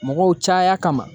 Mɔgɔw caya kama